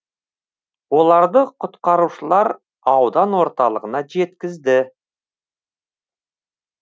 оларды құтқарушылар аудан орталығына жеткізді